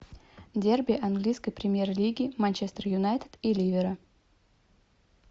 дерби английской премьер лиги манчестер юнайтед и ливера